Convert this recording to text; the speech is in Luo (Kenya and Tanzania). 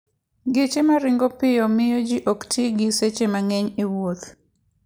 Geche ma ringo piyo miyo ji ok ti gi seche mang'eny e wuoth.